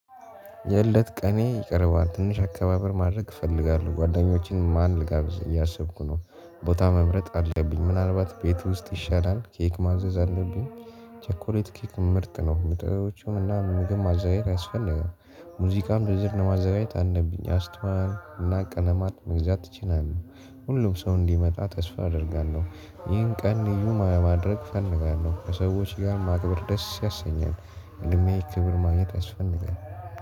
የእለት ቀኔ ይቀርባል ትንሽ አከባበር ማድረግ እፈልጋለሁ። ጓደኞቼን ማን ልጋብዝ እያሰብኩ ነው። ቦታ መምረጥ አለብኝ ምናልባት ቤት ውስጥ ይሻላል። ኬክ ማዘዝ አለብኝ። ቸኮሌት ኬክ ምርጥ ነው ምጥረቶቹም እና ምግብ ማዘጋጀት ያስፈልጋል። ሙዚቃም ዝርዝር ለማዘጋጀት አንደብኝ አስቷል እና ቀለማት መግዛት ትችላለህ? ሁሉም ሰው እንዲመጣ ተስፋ አደርጋለሁ። ይህን ቀን ልዩ ለማድረግ ፈንጋለሁ ከሰዎች ጋር ማክበር ደስ ያሰኛል። እድሜ ክብር ማግኘት ያስፈልጋል